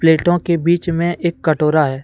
प्लेटो के बीच में एक कटोरा है।